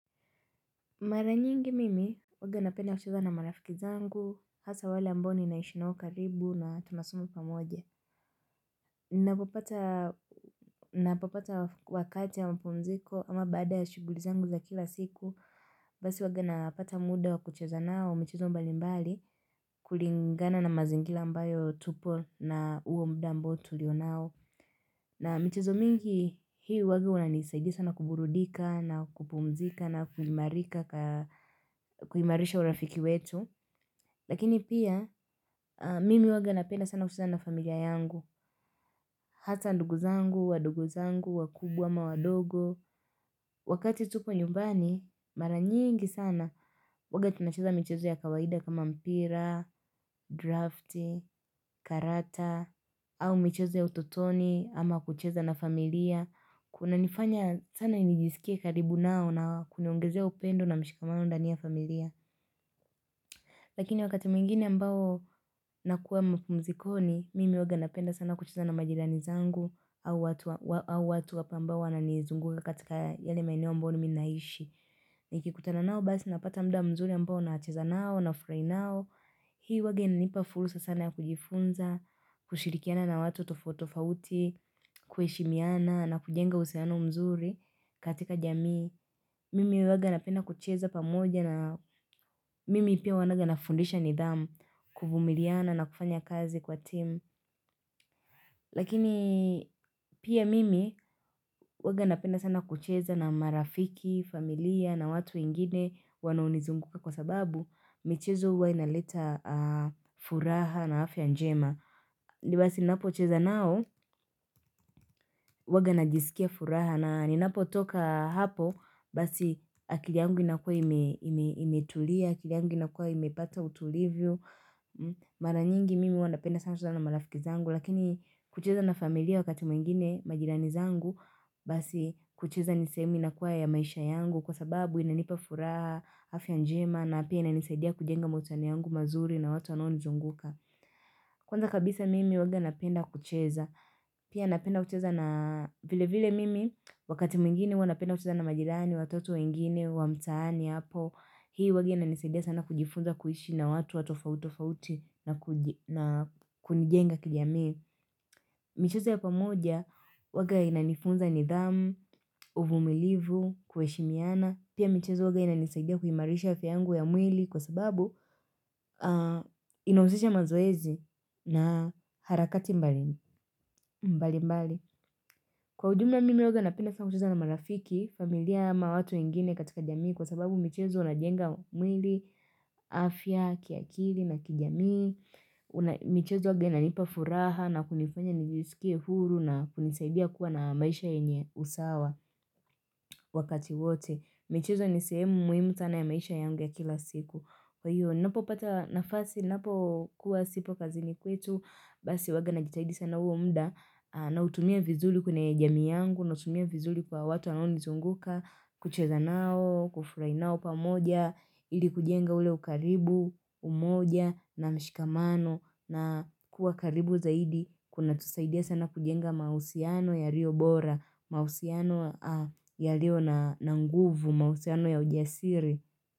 Mara nyingi mimi huwaga napenda kucheza na marafiki zangu, hasaa wale ambao naishi nao karibu na tunasoma pamoje Ninapopata wakati ya mapumziko ama baada ya shughuli zangu za kila siku, basi huwaga napata muda wa kucheza nao michezo mbali mbali, kulingana na mazingira ambayo tupo na huo muda amboa tulio nao. Na michezo mingi Hii huwaga unanisadia sana kuburudika na kupumzika na kuimarisha urafiki wetu Lakini pia mimi huwaga napenda sana kucheza na familia yangu Hata ndugu zangu, wadogo zangu, wakubwa ama wadogo Wakati tupo nyumbani mara nyingi sana huwaga tunacheza michezo ya kawaida kama mpira, drafti, karata au michezo ya utotoni ama kucheza na familia. Kunanifanya sana nijisikie karibu nao na kuniongezea upendo na mshikamano ndani ya familia Lakini wakati mwingine ambao nakuwa mapumzikoni, mimi huwaga napenda sana kucheza na majirani zangu, au watu wa au watu wapo ambao wananizunguka katika yale maeneo ambao ni mimi ninaishi Nikikutana nao basi napata muda mzuri ambao nacheza nao nafurahi nao. Hii huwaga inanipa fursa sana ya kujifunza kushirikiana na watu tofauti tofauti, kuheshimiana na kujenga uhusiano mzuri katika jamii. Mimi huwaga napenda kucheza pamoja na mimi pia huwaga nafundisha nidhamu, kuvumiliana na kufanya kazi kwa timu Lakini pia mimi huwaga napenda sana kucheza na marafiki, familia na watu wengine wanaonizunguka, kwa sababu michezo huwa inaleta furaha na afya njema. Ndio basi ninapocheza nao huwaga najisikia furaha na ninapotoka hapo basi akili yangu inakuwa imetulia, akili yangu inakuwa imepata utulivu Mara nyingi mimi huwa napenda sana kucheza na marafiki zangu, lakini kucheza na familia wakati mwingine, majirani zangu Basi kucheza ni sehemu inakuwa ya maisha yangu kwa sababu inanipa furaha, afya njema na pia inanisaidia kujenga mahusiano yangu mazuri na watu wanaonizunguka Kwanza kabisa mimi huwaga napenda kucheza, pia napenda kucheza na, vile vile mimi, wakati mwingine huwa napenda kucheza na majirani, watoto wengine wa mtaani hapo. Hii huwaga inanisaidia sana kujifunza kuishi na watu wa tofauti tofauti na kunijenga kijamii. Michezo ya pamoja huwaga inanifunza nidhamu, uvumilivu, kuheshimiana. Pia michezo huwaga inanisaidia kuimarisha afya yangu ya mwili kwa sababu inahusisha mazoezi na harakati mbali mbali. Kwa ujumla mimi huwaga napenda sana kucheza na marafiki, familia ama watu wengine katika jamii kwa sababu michezo unajenga mwili, afya, kiakili na kijamii michezo huwaga inanipa furaha na kunifanya nijisikie huru na kunisaidia kuwa na maisha yenye usawa wakati wote. Michezo ni sehemu muhimu sana ya maisha yangu ya kila siku. Kwa hiyo ninapopata nafasi ninapo kuwa sipo kazini kwetu, basi huwaga najitahidi sana huo muda nautumia vizuri kwenye jamii yangu nautumia vizuri kwa watu wanaonizunguka, kucheza nao, kufurahi nao pamoja, ili kujenga ule ukaribu, umoja na mshikamano, na kuwa karibu zaidi kunatusaidia sana kujenga mahusiano yaliyo bora, mahusiano yaliyo na nguvu, mahusiano ya ujasiri.